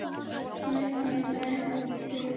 Næstur er Vetur.